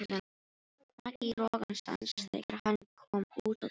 Rak í rogastans þegar hann kom út á Tún.